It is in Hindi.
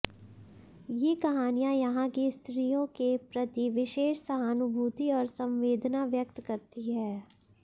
ये कहानियां यहां की स्त्रियों के प्रति विशेष सहानुभूति और संवेदना व्यक्त करती हैं